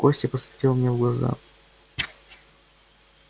костя посмотрел мне в глаза